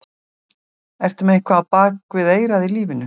Ertu með eitthvað á bak við eyrað í lífinu?